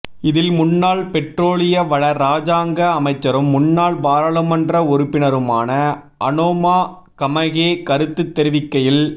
இதில் முன்னாள் பெற்றோலிய வள இராஜாங்க அமைச்சரும் முன்னாள் பாராளுமன்ற உறுப்பினருமான அனோமா கமகே கருத்து தெரிவிக்கையில்